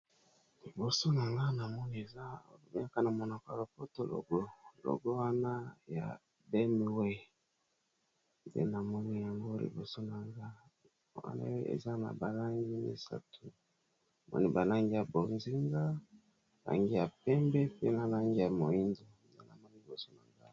Liboso na nga namoni eza eyaka na monoko ya lopoto logo, logo wana ya B M W nde na moni yango liboso nanga wana eza na ba langi misato namoni ba langi ya bozinga, langi ya pembe pe na langi ya moindo namoni liboso na nga.